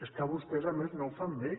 és que vostès a més no ho fan bé